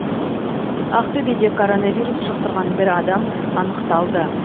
ақтөбеде коронавирус жұқтырған бір адам анықталды